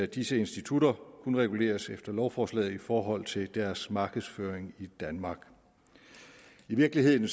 disse institutter kun reguleres efter lovforslaget i forhold til deres markedsføring i danmark i virkeligheden